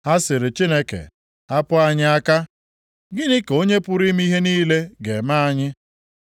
Ha sịrị Chineke, ‘Hapụ anyị aka! Gịnị ka Onye pụrụ ime ihe niile ga-eme anyị?’